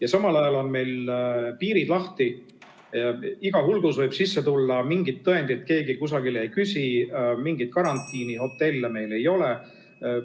Aga samal ajal on meil piirid lahti, iga hulgus võib sisse tulla, mingit tõendit keegi kusagil ei küsi, mingeid karantiinihotelle meil ei ole.